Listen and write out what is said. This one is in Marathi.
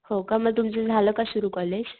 हो का मग तुमचं झाल का सुरु कॉलेज?